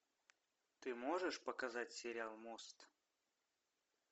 ты можешь показать сериал мост